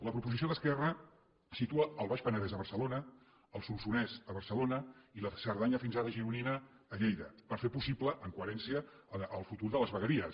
la proposició d’esquerra situa el baix penedès a barcelona el solsonès a barcelona i la cerdanya fins ara gironina a lleida per fer possible amb coherència el futur de les vegueries